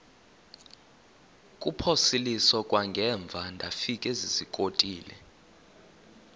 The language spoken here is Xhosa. kuphosiliso kwangaemva ndafikezizikotile